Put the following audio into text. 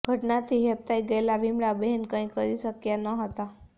ઘટનાથી હેબતાઈ ગયેલા વિમળાબહેન કઈ કરી શક્યા ન હતા